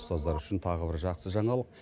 ұстаздар үшін тағы бір жақсы жаңалық